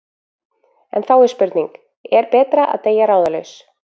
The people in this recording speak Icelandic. En þá er spurning: Er betra að deyja ráðalaus?